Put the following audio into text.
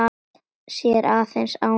Sér aðeins ána.